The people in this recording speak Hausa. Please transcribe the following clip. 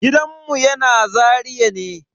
Gidanmu yana Zaria ne.